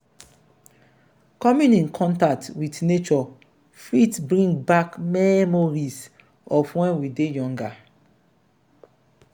coming in contact with nature fit bring back memories of when we dey younger